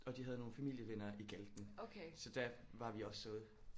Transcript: Og de havde nogle familievenner i Galten så der var vi også ude